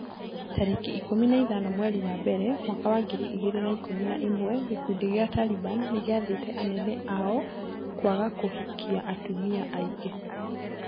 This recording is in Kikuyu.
Tarĩki ikũmi na ithano mweri wa mbere mwaka wa ngiri igĩrĩ na ikũmi na ĩmwe gĩkundi gĩa Taliban nĩgĩathĩte anene ao kwaga kũhikia atumia aingĩ.